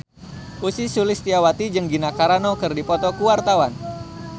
Ussy Sulistyawati jeung Gina Carano keur dipoto ku wartawan